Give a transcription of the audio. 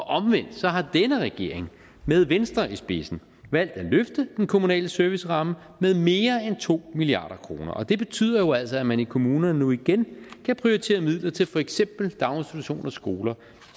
omvendt har denne regering med venstre i spidsen valgt at løfte den kommunale serviceramme med mere end to milliard kroner og det betyder altså at man i kommunerne nu igen kan prioritere midler til for eksempel daginstitutioner skoler